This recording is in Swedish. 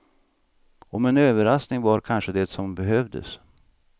Och en överraskning var kanske det som behövdes.